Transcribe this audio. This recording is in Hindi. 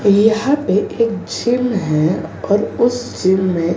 यहां पे एक जिम है और उस जिम में--